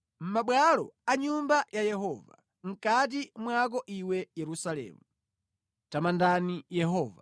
mʼmabwalo a nyumba ya Yehova, mʼkati mwako iwe Yerusalemu. Tamandani Yehova.